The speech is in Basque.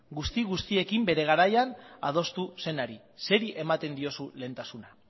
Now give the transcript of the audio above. guzti guztiekin bere garaian adostu zenari zeri ematen diozu lehentasuna